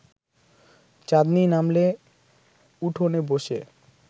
চাঁদনি নামলে উঠোনে বসে